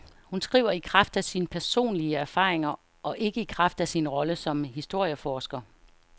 Hun skriver i kraft af sine personlige erfaringer og ikke i kraft af sin rolle som historieforsker.